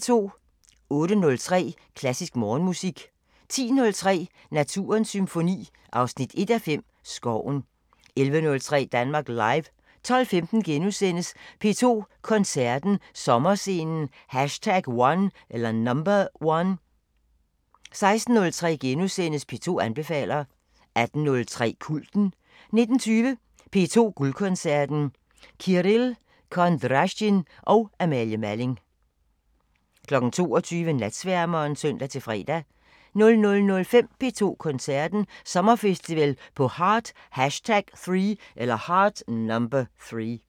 08:03: Klassisk Morgenmusik 10:03: Naturens Symfoni 1:5 – Skoven 11:03: Danmark Live 12:15: P2 Koncerten – Sommerscenen #1 * 16:03: P2 anbefaler * 18:03: Kulten 19:20: P2 Guldkoncerten: Kirill Kondrasjin og Amalie Malling 22:00: Natsværmeren (søn-fre) 00:05: P2 Koncerten – Sommerfestival på Heart #3